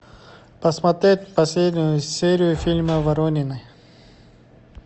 посмотреть последнюю серию фильма воронины